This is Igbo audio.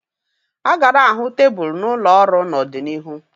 A ga na-ahụ tebụl n'ụlọ ọrụ n'ọdịnihu